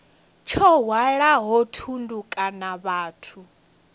tsho hwalaho thundu kana vhathu